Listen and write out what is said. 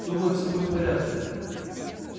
думаю всёе будет в порядке